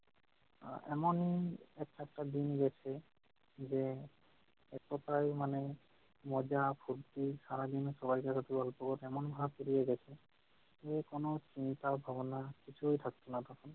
আহ এমন এক একেকটা দিন গেছে যে এক কথায় মানে মজা -ফুরতি সারাদিন ওপর এমন হাত রয়ে গেছে যে কোন চিন্তা ভাবনা কিছুই থাকত না তখন